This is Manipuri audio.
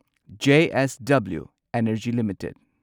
JSW energy limited